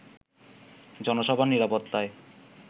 জনসভার নিরাপত্তায়